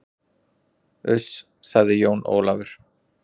Uss, sagði Jón Ólafur.